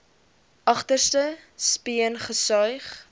agterste speen gesuig